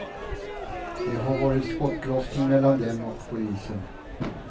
Det har varit skottlossning mellan dem och polisen.